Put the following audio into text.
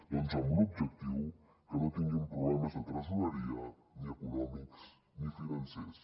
doncs amb l’objectiu que no tinguin problemes de tresoreria ni econòmics ni financers